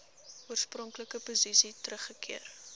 oorspronklike posisie teruggekeer